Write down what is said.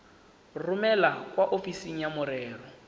romele kwa ofising ya merero